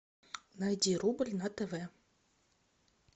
найди рубль на тв